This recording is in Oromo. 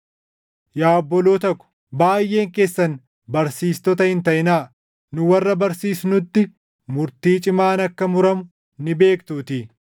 Yaa obboloota ko, baayʼeen keessan barsiistota hin taʼinaa; nu warra barsiisnutti murtii cimaan akka muramu ni beektuutii.